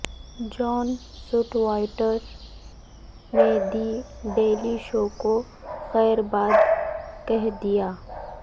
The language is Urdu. جان سٹوئرٹ نے دی ڈیلی شو کو خیرباد کہہ دیا